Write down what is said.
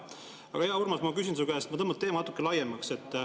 Aga, hea Urmas, ma küsin su käest ja ma tõmban teema natukene laiemaks.